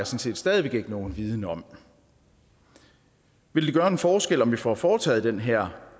set stadig væk ikke nogen viden om vil det gøre en forskel hvis vi nu får foretaget den her